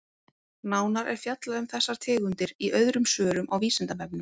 Nánar er fjallað um þessar tegundir í öðrum svörum á Vísindavefnum.